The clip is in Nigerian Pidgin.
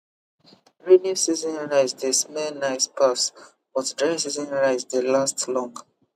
rainy season rice dey smell nice pass but dry season rice dey last long